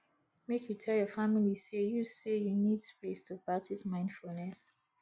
make you tell your family say you say you need space to practice mindfulness